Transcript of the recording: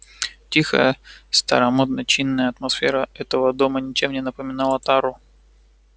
тихая старомодно-чинная атмосфера этого дома ничем не напоминала тару